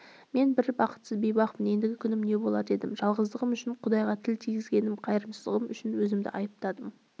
мен бір бақытсыз бейбақпын ендігі күнім не болар дедім жалғыздығым үшін құдайға тіл тигізген қайырсыздығым үшін өзімді айыптадым